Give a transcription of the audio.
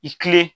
I kilen